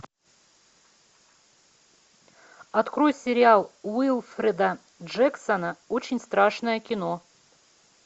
открой сериал уилфреда джексона очень страшное кино